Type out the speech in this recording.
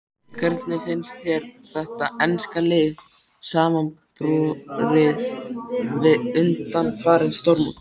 Hvernig finnst þér þetta enska lið samanborið við undanfarin stórmót?